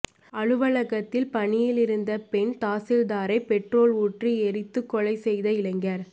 அலுவலகத்தில் பணியில் இருந்த பெண் தாசில்தாரை பெட்ரோல் ஊற்றி எரித்துக் கொலை செய்த இளைஞர்